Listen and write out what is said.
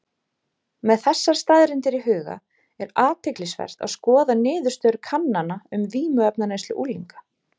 Með þessar staðreyndir í huga er athyglisvert að skoða niðurstöður kannana um vímuefnaneyslu unglinga.